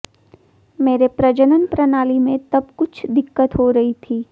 मेरे प्रजनन प्रणाली में तब कुछ दिक्कत हो रही थी